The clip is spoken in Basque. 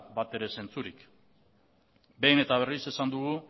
batere zentzurik behin eta berriz esan dugu